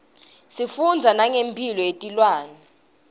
sifundza nangemphilo yetilwane